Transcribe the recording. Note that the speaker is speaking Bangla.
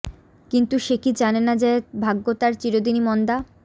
কিন্তু সে কি জানে না যে ভাগ্য তার চিরদিনই মন্দা